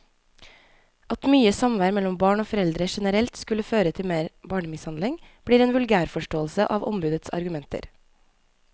At mye samvær mellom barn og foreldre generelt skulle føre til mer barnemishandling, blir en vulgærforståelse av ombudets argumenter.